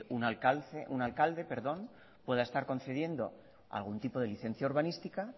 un alcalde pueda estar concediendo algún tipo de licencia urbanística